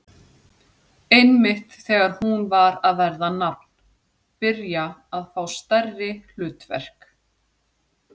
Einmitt þegar hún var að verða nafn, byrja að fá stærri hlutverk.